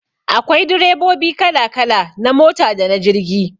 Akwai direbobi kala kala na mota dana jirgi